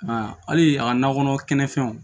A hali a ka nakɔ kɔnɔ kɛnɛfɛnw